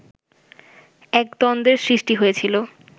এক দ্বন্দ্বের সৃষ্টি হয়েছিল